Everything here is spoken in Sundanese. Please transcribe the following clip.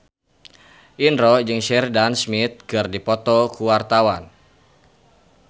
Indro jeung Sheridan Smith keur dipoto ku wartawan